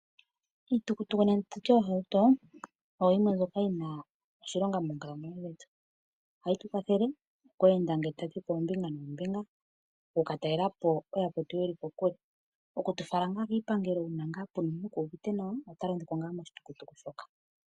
Iitukutuku nenge tutye oohauto oyo yimwe mbyoka yi na oshilonga moonkalamweyo dhetu, ohayi tu kwathele oku enda ngele ta tu yi oombinga noombinga. Oku ka talelapo ooyakwetu mboka ye li kokule, oku tu fala kiipangelo uuna nga omukuluntu ke uvite nawa, ota londo po ngaa moshitukutuku shoka.